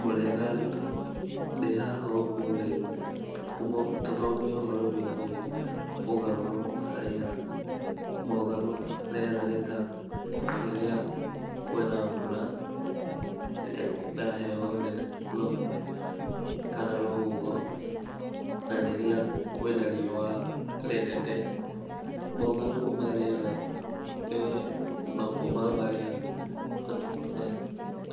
Mũrĩega arutwo, ndĩhaha ũmũthĩ tũthomo, tũthome ũhoro wĩgiĩ ũgarũrũku wa rĩera, mogarũrũku ma rĩera nĩ ta, rĩrĩa kwina mbura, rĩrĩa kwina heho nene mũno, kana rũhuho, na rĩrĩa kwĩna riuwa rĩnene, mogarũrũku ma rĩera, nĩ mamwe ma marĩa matũmaga